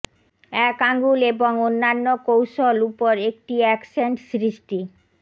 এক আঙুল এবং অন্যান্য কৌশল উপর একটি অ্যাকসেন্ট সৃষ্টি